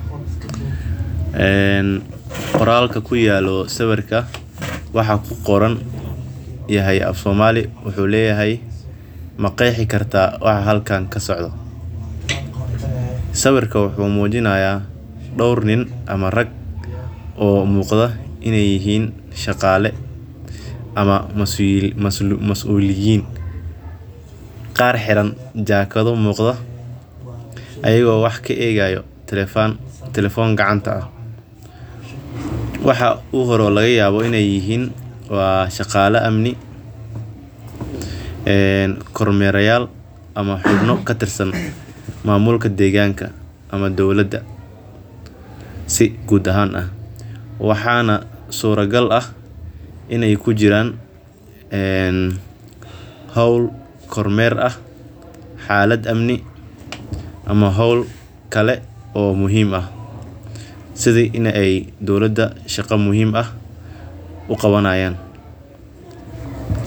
Eeen qoraalka ku yaalo sawirka waxaa ku qoran yahay Afsoomali wuxuu leeyahay ma qeyxi kartaa waxa halkaan ka socdo. Sawirka wuxuu muujinayaa dhowr nin ama rag oo muuqda inay yihiin shaqaale ama masuul, masu, masuuliyin. Qaar xiran jaakado muuqda ayagoo wax ka eegayo telephone gacanta ah. Waxa u hor u laga yaabo inay yihiin waaa shaqaala amni, ee kor mera yal ama xubno ka tirsan maamulka deegaanka ama dawladda. Si guud ahaan ah, waxaana suurtagal ah inay ku jiraan, een hawl kor meer ah, xaallad amnig ama hawl kale oo muhiim ah siday inay ay dawladada shaqo muhiim ah u qabanayaan.